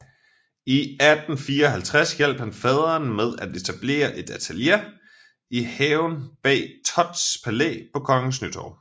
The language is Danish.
I 1854 hjalp han faderen med at etablere et atelier i haven bag Thotts Palæ på Kongens Nytorv